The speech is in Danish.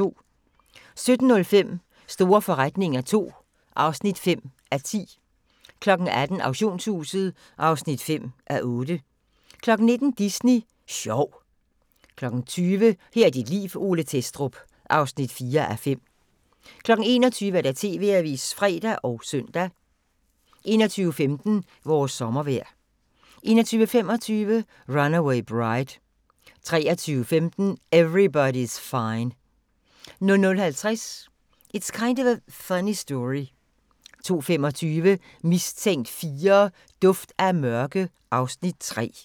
17:05: Store forretninger II (5:10) 18:00: Auktionshuset (5:8) 19:00: Disney Sjov 20:00: Her er dit liv: Ole Thestrup (4:5) 21:00: TV-avisen (fre og søn) 21:15: Vores sommervejr 21:25: Runaway Bride 23:15: Everybody's Fine 00:50: It's Kind of a Funny Story 02:25: Mistænkt 4: Duft af mørke (Afs. 3)